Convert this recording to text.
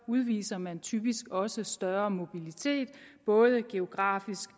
udviser man typisk også større mobilitet både geografisk